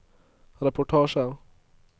reportasjer